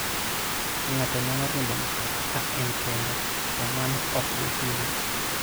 Ng'ato nyalo riembo mtoka ka en kende, to mano ok bi hinye.